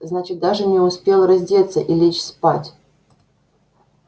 значит даже не успел раздеться и лечь спать